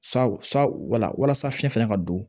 Saw sa wala walasa fiɲɛ fana ka don